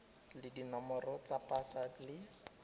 le dinomoro tsa pasa le